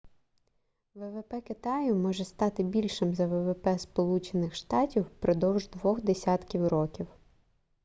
ввп китаю може стати більшим за ввп сполучених штатів впродовж двох десятків років